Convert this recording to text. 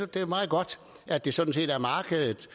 det er meget godt at det sådan set er markedet